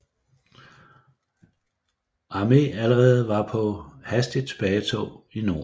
Arme allerede var på hastigt tilbagetog i nord